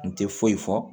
N tɛ foyi fɔ